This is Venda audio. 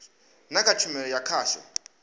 na kha tshumelo ya khasho